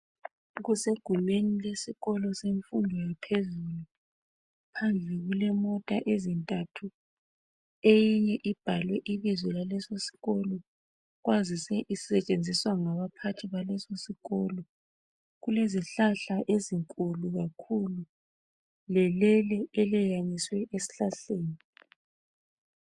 Kusegumeni lesikolo semfundo yaphezulu phandle kule mota ezintathu eyinye ibhalwe ibizo laleso sikolo isetshenziswa ngabaphaghi baleso isikolo kulezihlahla ezinkulu kakhulu lelele elikekaniswe esihlahleni